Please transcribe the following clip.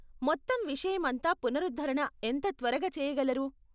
మొత్తం విషయం అంతా పునరుద్ధరణ ఎంత త్వరగా చేయగలరు?